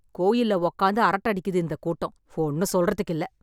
கோயில்ல உட்கார்ந்து அரட்டை அடிக்குது இந்த கூட்டம், ஒண்ணும் சொல்றதுக்கில்ல.